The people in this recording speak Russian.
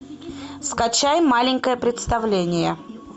скачай маленькое представление